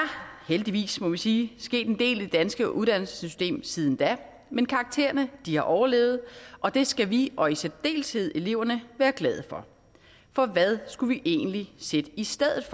heldigvis må vi sige sket en del i det danske uddannelsessystem siden da men karaktererne har overlevet og det skal vi og i særdeleshed eleverne være glade for for hvad skulle vi egentlig sætte i stedet